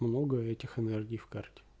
много этих энергий в карте